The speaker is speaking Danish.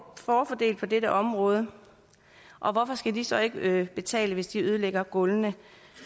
får en fordel på dette område og hvorfor skal de så ikke betale hvis de ødelægger gulvene